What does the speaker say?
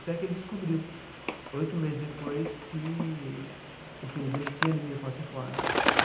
Até que ele descobriu, oito meses depois, que o filho dele tinha anemia falciforme.